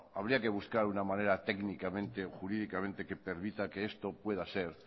habría que buscar una manera técnicamente o jurídicamente que permita que esto pueda ser